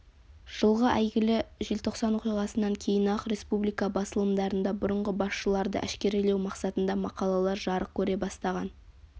жылғы әйгілі желтоқсан оқиғасынан кейін-ақ республика басылымдарында бұрынғы басшыларды әшкерелеу мақсатында мақалалар жарық көре бастаған